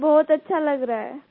sir बहुत अच्छा लग रहा है